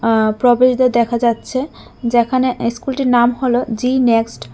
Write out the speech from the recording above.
আঃ প্রবেশদ্বার দেখা যাচ্ছে যেখানে ইস্কুলটির নাম হল জি নেক্সট ।